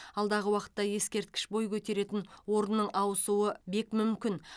алдағы уақытта ескерткіш бой көтеретін орынның ауысуы бек мүмкін